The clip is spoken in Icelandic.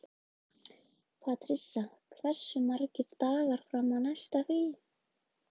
Patrisía, hversu margir dagar fram að næsta fríi?